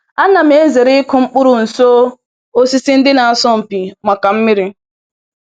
Anam zere ịkụ mkpụrụ nso osisi ndị na-asọ mpi maka mmiri.